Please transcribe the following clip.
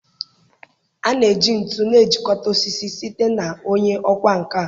A na-eji ntu na-ejikọta osisi site na onye ọkwá nkà.